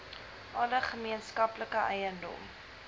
alle gemeenskaplike eiendom